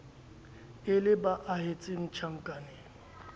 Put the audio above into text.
e le ba ahetseng tjhankaneng